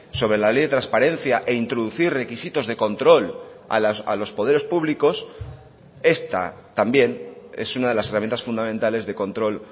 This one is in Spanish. sobre la ley de transparencia e introducir requisitos de control a los poderes públicos esta también es una de las herramientas fundamentales de control